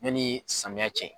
Yanni samiya cɛ.